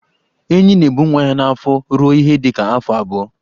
Enyí na-ebu nwa ya n'afọ ruo ihe dịka afọ abụọ.